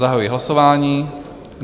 Zahajuji hlasování.